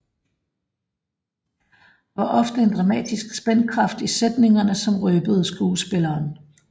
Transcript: Der var ofte en dramatisk spændkraft i sætningerne som røbede skuespilleren